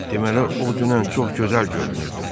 Deməli o dünən çox gözəl görünürdü.